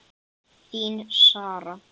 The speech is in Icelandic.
Þín, Sara.